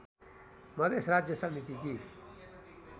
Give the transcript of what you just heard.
मधेस राज्य समितिकी